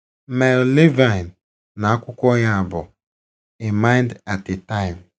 Mel Levine na akwụkwọ ya bụ A mind at a time.